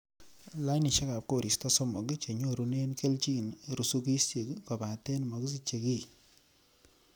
Lainisiek ab koristo somok chenyorune kelyin rusukisiek, kobaten mokisiche kiy.